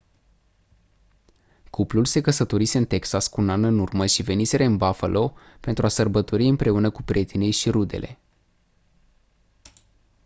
cuplul se căsătorise în texas cu un an în urmă și veniseră în buffalo pentru a sărbători împreună cu prietenii și rudele